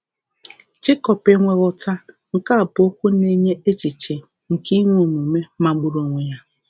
Jekọb “enweghị ụta,” nke a bụ okwu na-enye echiche nke inwe omume magburu onwe ya.